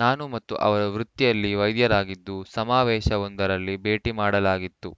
ನಾನು ಮತ್ತು ಅವರು ವೃತ್ತಿಯಲ್ಲಿ ವೈದ್ಯರಾಗಿದ್ದು ಸಮಾವೇಶವೊಂದರಲ್ಲಿ ಭೇಟಿ ಮಾಡಲಾಗಿತ್ತು